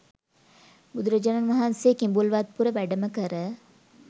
බුදුරජාණන් වහන්සේ කිඹුල්වත්පුර වැඩම කර